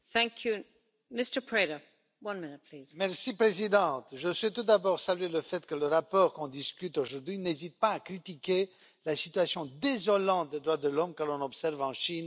Madame la Présidente, je souhaite tout d'abord saluer le fait que le rapport dont on discute aujourd'hui n'hésite pas à critiquer la situation désolante des droits de l'homme que l'on observe en Chine depuis des années.